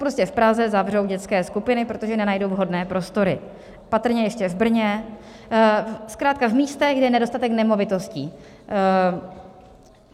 Prostě v Praze zavřou dětské skupiny, protože nenajdou vhodné prostory, patrně ještě v Brně, zkrátka v místech, kde je nedostatek nemovitostí.